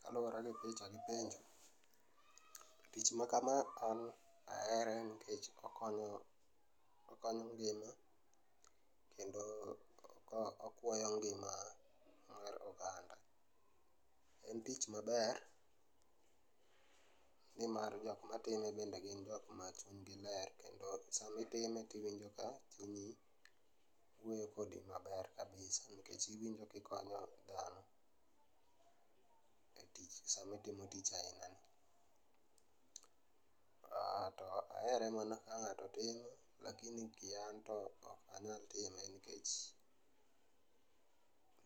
Kaluore gi picha gi penjo, tich ma kama an ahere nikech okonyo ,okonyo piny kendo okuoyo ng'ima ma oganda. En tich maber nimar jokma time bende gin jokma chuny gi ler kendo sama itime tiwonjo ka chunyi wuoyo kodi maber kabisa nikech iwinjo ka ikonyo dhano e tich sama itimo tich aina ni. Aaah, anto ahere mana ka ng'ato time lakini kian to ok anyal time nikech